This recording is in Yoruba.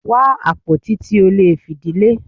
Wá àpótí tí o lè fìdí lé!